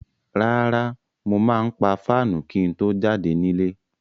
Rárá, mo máa pa fáànù kí n tó jáde nílé.